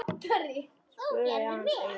spurði hann síðan.